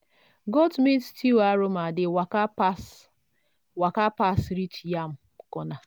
goat meat stew aroma dey waka pass waka pass reach yam corner.